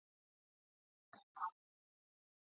Hann kyssir mig á augnalokin.